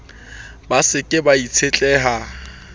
ba se ke ba itshetleha